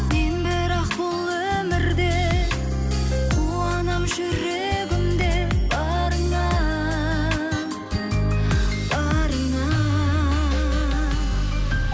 мен бірақ бұл өмірде қуанамын жүрегімде барыңа барыңа